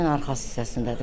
Evin arxa hissəsindədir.